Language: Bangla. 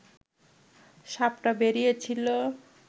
সাপটা বেরিয়েছিল